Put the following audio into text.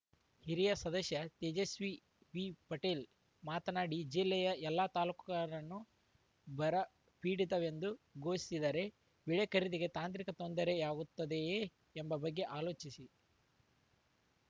ಹಿರಿಯ ಸದಸ್ಯ ತೇಜಸ್ವಿ ವಿಪಟೇಲ್‌ ಮಾತನಾಡಿ ಜಿಲ್ಲೆಯ ಎಲ್ಲಾ ತಾಲೂಕರ ನ್ನು ಬರ ಪೀಡಿತವೆಂದು ಘೋಷಿಸಿದರೆ ಬಿಳೆ ಖರೀದಿಗೆ ತಾಂತ್ರಿಕ ತೊಂದರೆಯಾಗುತ್ತದೆಯೇ ಎಂಬ ಬಗ್ಗೆ ಆಲೋಚಿಸಿ